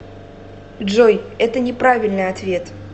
джой это не правильный ответ